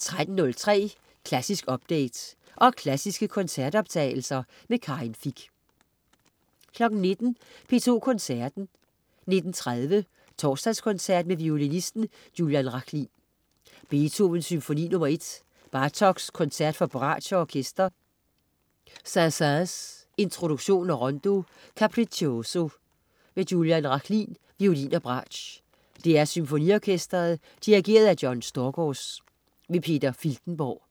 13.03 Klassisk update. Og klassiske koncertoptagelser. Karin Fich 19.00 P2 Koncerten. 19.30 Torsdagskoncert med violinisten Julian Rachlin. Beethoven: Symfoni nr. 1. Bartók: Koncert for bratsch og orkester. Saint-Saëns: Introduktion og Rondo Capriccioso. Julian Rachlin, violin og bratsch. DR SymfoniOrkestret. Dirigent: John Storgårds. Peter Filtenborg